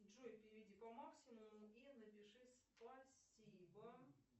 джой переведи по максимуму и напиши спасибо